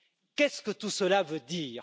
Qu'est ce que tout cela veut dire?